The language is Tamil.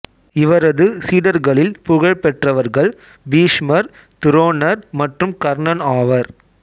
இவரது சீடர்களில் புகழ்பெற்றவர்கள் பீஷ்மர் துரோணர் மற்றும் கர்ணன் ஆவர்